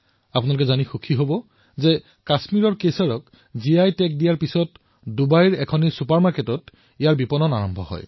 আপোনালোকে এয়া জানি সুখী হব যে কাশ্মীৰৰ কেশৰে জিআই টেগৰ স্বীকৃতি লাভ কৰাৰ পিছত ডুবাইৰ এক ছুপাৰমাৰ্কেটত ইয়াক মুকলি কৰা হৈছে